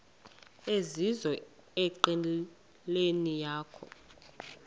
ezizizo enqileni yakho